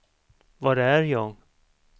var är jag